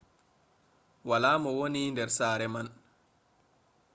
wala mo wooni der sare man